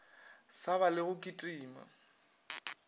sa ba le go kitima